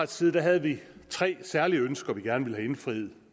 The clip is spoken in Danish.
side havde vi tre særlige ønsker vi gerne ville have indfriet